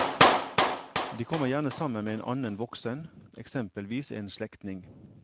De kommer gjerne sammen med en annen voksen, eksempelvis en slektning.